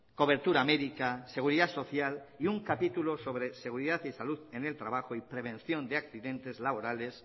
cobertura médica seguridad social y un capítulo sobre seguridad y salud en el trabajo y prevención de accidentes laborales